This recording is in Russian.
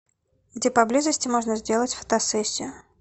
где поблизости можно сделать фотосессию